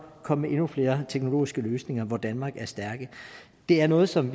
komme med endnu flere teknologiske løsninger hvor danmark er stærk det er noget som